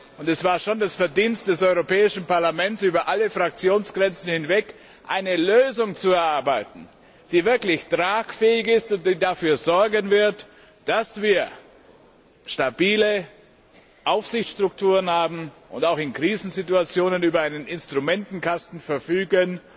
Und es war schon das Verdienst des Europäischen Parlaments, über alle Fraktionsgrenzen hinweg eine Lösung zu erarbeiten, die wirklich tragfähig ist und die dafür sorgen wird, dass wir stabile Aufsichtsstrukturen haben und auch in Krisensituationen über einen Instrumentenkasten verfügen,